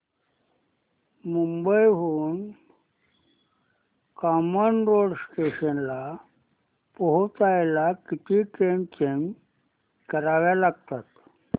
मुंबई हून कामन रोड स्टेशनला पोहचायला किती ट्रेन चेंज कराव्या लागतात